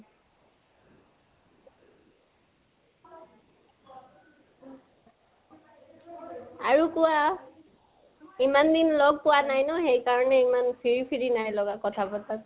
আৰু কোৱা। ইমান দিন লগ পোৱা নাই ন, সেইকাৰণে ইমান free free নাই লগা লথা পতাত।